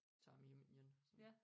Tager man hjem igen sådan